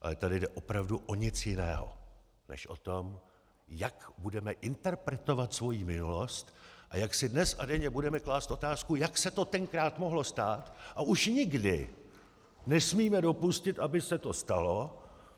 Ale tady nejde opravdu o nic jiného než o to, jak budeme interpretovat svoji minulost a jak si dnes a denně budeme klást otázku, jak se to tenkrát mohlo stát, a už nikdy nesmíme dopustit, aby se to stalo.